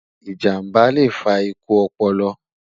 ìjàmbá lẹ fà ikú ọpọlọ